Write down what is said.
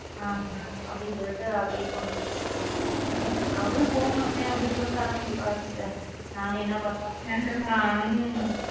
ஆமா அப்படின்னு சொல்லிட்டு அப்படியே கொண்டு போய்கிட்டு இருக்கேன் போ அதுவும் போகமாட்டேன் அப்படின்னு சொல்லிட்டு அடம் பிடிப்பா சிஸ்டர் நான் என்ன பண்றது நானும்.